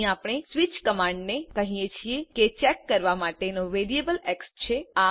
અહીં આપણે સ્વીચ કમાન્ડને કહીએ છીએ કે ચેક કરવા માટેનો વેરિયેબલ એક્સ છે